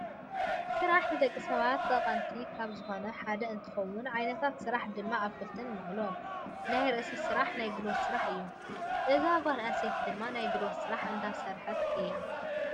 ስራሕ ንደቂ ሰባት ጠቀምቲ ካብ ዝኮኑ ሓደ እንትከውን ዓይነታት ስራሕ ድማ ኣብ ክልተ ንመቅሎ ፣ናይ ርእሲ ስራሕ ናይ ጉልበት ስራሕን እዩ። እዛ ጓል ኣነስተይቲ ድማ ናይ ጉልበት ስራሕ እንዳሰረሐይ እያ።